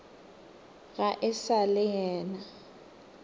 ga e sa le nna